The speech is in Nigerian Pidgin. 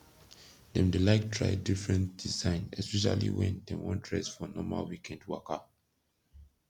dem dey laik try difren design espeshally wen dem wan dress for normal wikend waka